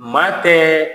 Maa tɛ